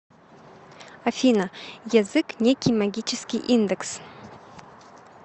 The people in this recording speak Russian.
афина язык некий магический индекс